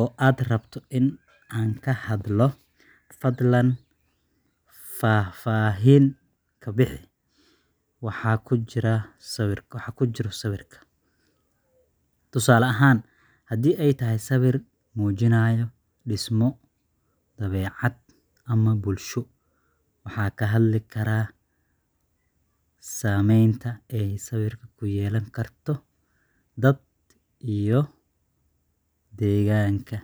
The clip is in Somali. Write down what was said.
oo aad rabto in aan ka hadlo, fadlan faahfaahin ka bixi waxa ku jira sawirka. Tusaale ahaan, haddii ay tahay sawir muujinaya dhismo, dabeecad, ama bulsho, waxaan ka hadli karnaa saameynta ay sawirku ku yeelan karto dadka iyo deegaanka.